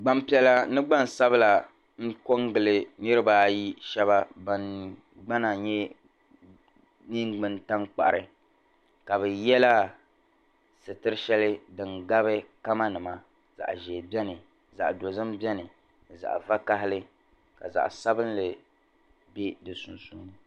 Gbampiɛla ni gbansabila n-ko n-gili niribaa ayi shɛba ban gbana nye yɛn ŋmani tankpari ka bɛ yela sitir'shɛli din gabi kamanima zaɣ'ʒee beni zaɣ'dozim beni ni zaɣ'vakahali ka zaɣ'sabinli be di sunsuuni